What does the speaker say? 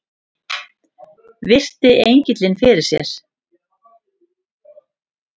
Virti engilinn fyrir sér.